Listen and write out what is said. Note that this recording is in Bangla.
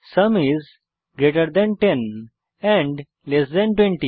sum is greater than 10 and less than 20